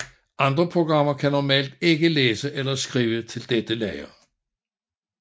Andre programmer kan normalt ikke læse eller skrive til dette lager